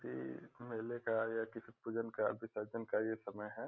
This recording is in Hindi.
की किसी मैले का या किसी पूजन का विसर्जन का ये समय है।